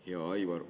Hea Aivar!